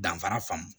Danfara faamu